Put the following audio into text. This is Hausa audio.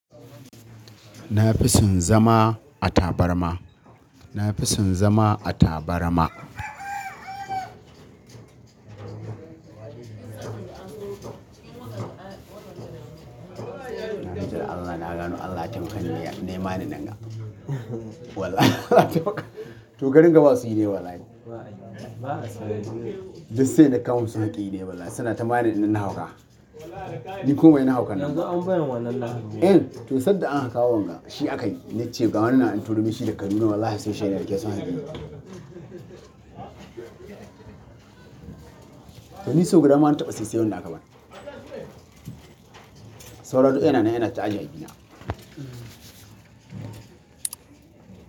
Na fi son zama a tabarma. Na fi son zama a tabarma. Na bi ta Allah, na gano Allah ya taimakan ne, ne ma ni nanga. Walla to garin gaba su yi ne wallahi. Just sai da kamun su hakki ne wallahi, suna ta bani ina na hauka. Ni kuma ina hauka nan. Yanzu an bani wannan na hauka. Eh, to sanda an kawo wanga, shi aka yi. Na ce ga wannan an turomin shi daga Kaduna wallahi sai shayar da ke son haƙi. To ni sau guda na taɓa siye sai wanda aka bani. Sauro ɗin yana nan yana ta'aje abina. Mm.